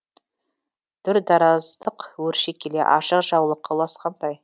дүрдараздық өрши келе ашық жаулыққа ұласқандай